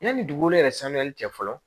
Yanni dugukolo yɛrɛ sanuyali cɛ fɔlɔ